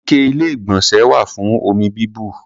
Ike Ilé-ìgbọ̀nsẹ̀ wà fún omi bíbù.